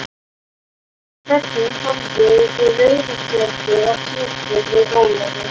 Hvernig horfði rauða spjaldið á Pétur við Ólafi?